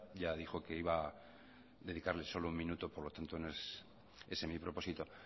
ya dijo que iba a dedicarle solo un minuto por lo tanto no es ese mi propósito